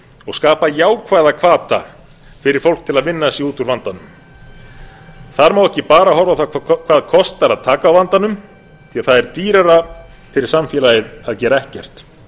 og skapa jákvæða hvata fyrir fólk til að vinna sig út úr vandanum það má ekki bara horfa á það hvað kostar að taka á vanda því það er dýrara fyrir samfélagið að gera ekkert